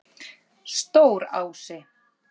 Stórási